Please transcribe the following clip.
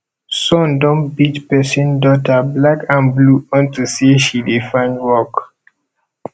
sun don beat person daughter black and blue unto say she dey find work